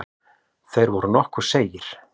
Þeir voru nokkuð seigir.